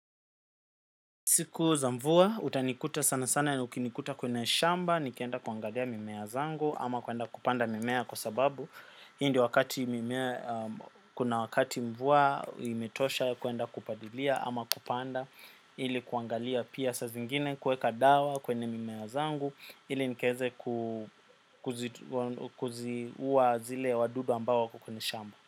Siku za mvua, utanikuta sana sana ukinikuta kwenye shamba, nikienda kuangalia mimea zangu ama kwenda kupanda mimea kwa sababu hii ndio wakati mvua imetosha kwenda kupalilia ama kupanda ili kuangalia pia saa zingine kuweka dawa kwenye mimea zangu ili nikiweze kuziua zile wadudu ambao wako kwenye shamba.